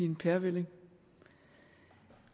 en pærevælling